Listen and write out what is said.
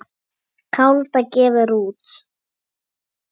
Kaldá gefur út.